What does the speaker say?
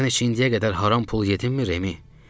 Sən indi ki indiyə qədər haram pul yedinmi, Remi?